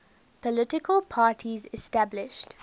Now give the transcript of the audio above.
political parties established